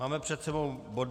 Máme před sebou bod